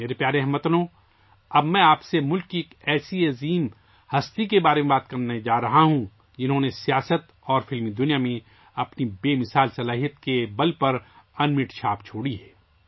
میرے پیارے ہم وطنو، اب میں آپ سے ملک کی ایک ایسی عظیم شخصیت کے بارے میں بات کرنے جا رہا ہوں ، جنہوں نے سیاست اور فلم جگت میں اپنی شاندار شخصیت کے بل پر انمٹ چھاپ چھوڑی ہے